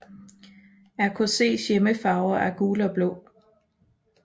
RKCs hjemmefarver er gule og blå